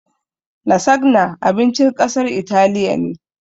"Lasagna" abincin ƙasar italiya ne